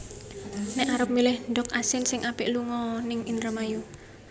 Nek arep milih ndog asin sing apik lungo o ning Indramayu